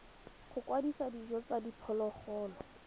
go kwadisa dijo tsa diphologolo